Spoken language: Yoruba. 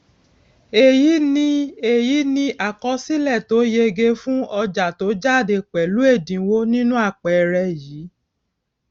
èyí ni èyí ni àkọsílè tó yege fún ọjà tó jáde pèlú èdínwó nínú àpẹẹrẹ yìí